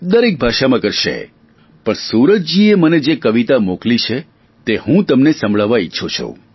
દરેક ભાષામાં કરશે પણ સૂરજજીએ મને જે કવિતા મોકલી છે તે હું તમને સંભળાવવા માંગુ છું